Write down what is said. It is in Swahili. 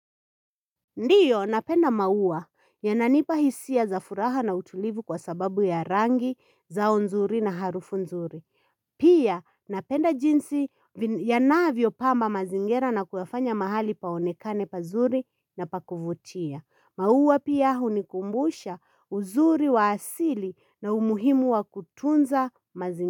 Ndiyo napenda maua yananipa hisia za furaha na utulivu kwa sababu ya rangi zao nzuri na harufu nzuri Pia napenda jinsi yanavyo pamba mazingira na kuyafanya mahali paonekane pazuri na pa kuvutia. Maua pia hunikumbusha uzuri wa asili na umuhimu wa kutunza mazingira.